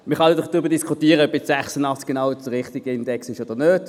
Man kann darüber diskutieren, ob 86 genau der richtige Index sei oder nicht.